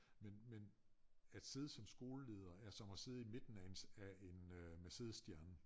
Men men at sidde som skoleleder er som at sidde i midten af en af en øh Mercedes stjerne